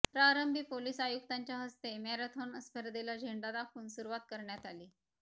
प्रारंभी पोलीस आयुक्तांच्या हस्ते मॅरेथॉन स्पर्धेला झेंडा दाखवून सुरूवात करण्यात आली